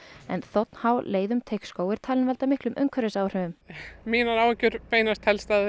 en þ h leið um Teigsskóg er talin valda miklum umhverfisáhrifum mínar áhyggjur beinast